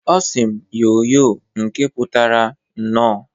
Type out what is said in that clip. Ọ sị m, "Yoo yoo!" nke putara "Nnọọ!"